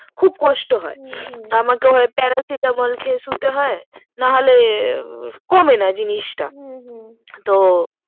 খুব কষ্ট হয় হু হু আমাকে হয় প্যারাসিটআমল খেয়ে শুতে হয় না হলে কমে না জিনিস টা হু হু